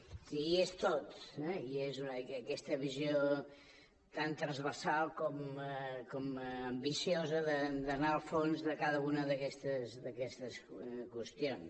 és a dir hi és tot eh i és aquesta visió tan transversal com ambiciosa d’anar al fons de cada una d’aquestes qüestions